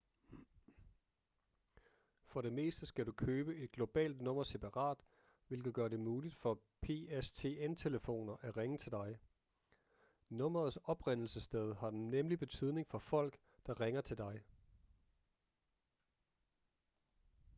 for det meste skal du købe et globalt nummer separat hvilket gør det muligt for pstn-telefoner at ringe til dig nummerets oprindelsessted har nemlig betydning for folk der ringer til dig